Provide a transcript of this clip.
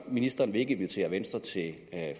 ministeren vil ikke invitere venstre til